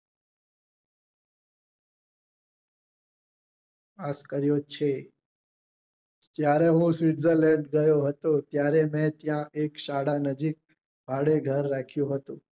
આ કર્યું છે જયારે હું switzerland ગયો હતો ત્યારે મેં ત્યાં એક શાળા નજીક ભાડે ઘર રાખ્યું હતું